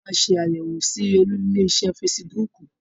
Áà ó máa ṣé àyẹ̀wọ̀ síí Olú ilé iṣẹ́ fésííbùùkù.